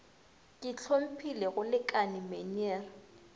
ke hlomphile go lekane meneer